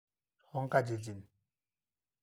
tonkatitin.